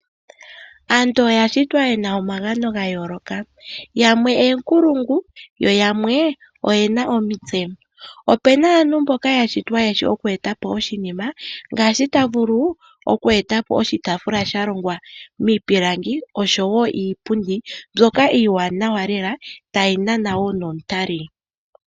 Aantu oya shitwa yena omagano ga yooloka, yamwe oonkulungu, yo yamwe oyena omitse. Opuna aantu mboka ya shitwa yeshi oku e ta po oshinima ngaashi ta vulu oku e ta po oshitaafula sha longwa miipilangi oshowo iipundi mbyoka iiwaanawa lela, tayi nana wo nomutali.